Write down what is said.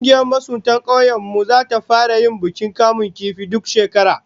Kungiyar masuntan kaunyen mu zata fara yin bukin kamun kifi duk shekara